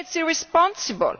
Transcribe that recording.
Again, it is irresponsible.